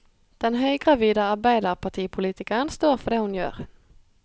Den høygravide arbeiderpartipolitikeren står for det hun gjør.